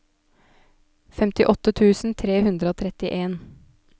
femtiåtte tusen tre hundre og trettien